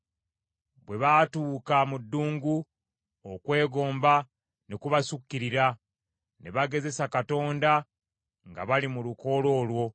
Bwe baatuuka mu ddungu, okwegomba ne kubasukkirira; ne bagezesa Katonda nga bali mu lukoola olwo.